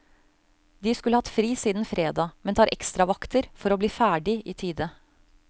De skulle hatt fri siden fredag, men tar ekstravakter for å bli ferdig i tide.